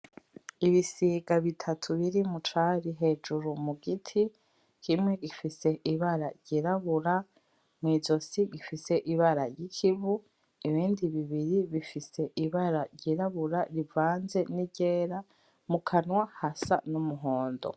Ibisiga bitatu biri mu cari hejuru mu giti. Kimwe gifise ibara ryirabura, mwizosi gifise ibara ry'ikivu. Ibindi bibiri bifise ibara ryirabura rivanze n'iryera, mukanwa hasa n'umuhondo.